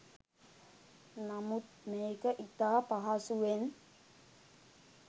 නමුත් මේක ඉතා පහසුවෙන්